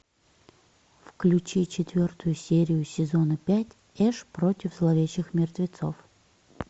включи четвертую серию сезона пять эш против зловещих мертвецов